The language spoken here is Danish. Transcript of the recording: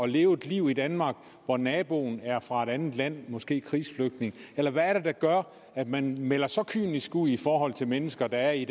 leve et liv i danmark hvor naboen er fra et andet land måske en krigsflygtning eller hvad er det der gør at man melder så kynisk ud i forhold til mennesker der er i